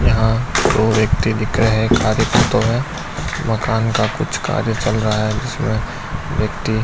यहाँ दो व्यक्ति दिख रहे हैं कार्य करते हुए। मकान का कुछ कार्य चल रहा है जिसमें व्यक्ति --